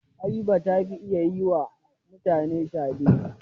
Habiba ta fi iya yi wa mutane shade.